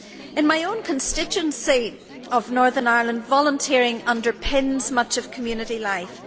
In my own constituency of Northern Ireland, volunteering underpins much of community life.